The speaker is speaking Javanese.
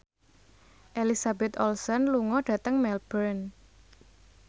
Elizabeth Olsen lunga dhateng Melbourne